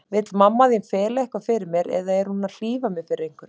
Vill mamma þín fela eitthvað fyrir mér, eða er hún að hlífa mér við einhverju?